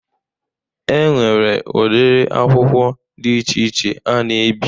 E nwere ụdiri akwụkwọ dị iche iche a na-ebi.